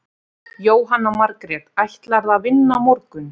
Jóhanna Margrét: Ætlarðu að vinna á morgun?